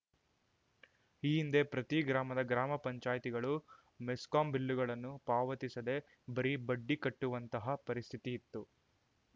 ಈ ಹಿಂದೆ ಪ್ರತಿ ಗ್ರಾಮದ ಗ್ರಾಮಪಂಚಾಯತಿಗಳು ಮೆಸ್ಕಾಂ ಬಿಲ್ಲುಗಳನ್ನು ಪಾವತಿಸದೇ ಬರೀ ಬಡ್ಡಿ ಕಟ್ಟುವಂತಹ ಪರಿಸ್ಥಿತಿ ಇತ್ತು